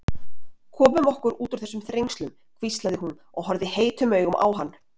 Komum okkur út úr þessum þrengslum hvíslaði hún og horfði heitum augum á hann.